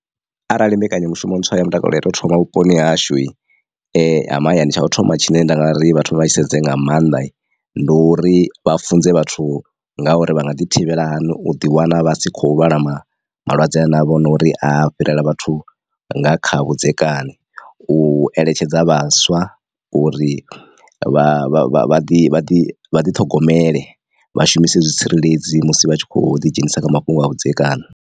Arali mbekanyamushumo ntswa ya mutakalo ya to thoma vhuponi hashu ha mahayani tsha u thoma tshine nda nga ri vha thome vha tshi sedze nga maanḓa ndi uri vha funze vhathu nga uri vha nga ḓi thivhela hani u ḓi wana vha si khou lwala ma malwadze a na vho no uri a fhirela vhathu nga kha vhudzekani, u eletshedza vhaswa uri vha ḓi ḓi vha ḓiṱhogomele vha shumise zwitsireledzi musi vha tshi kho ḓi dzhenisa kha mafhungo a vhudzekani.